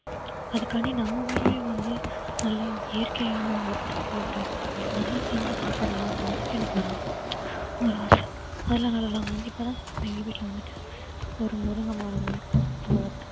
அதுக்காண்டி நம்ம வீட்டிலேயே வந்து நல்ல இயற்கையான உரத்தை போட்டு அதுல செஞ்சி சாப்பிடலாம்னு எனக்கு ஒரு ஆ~ ஒரு ஆசை நாங்க வந்து இப்ப எங்க வீட்ல வந்துட்டு ஒரு முருங்கை மரம் வளர்த்தோம்